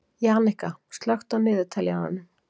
Jannika, slökktu á niðurteljaranum.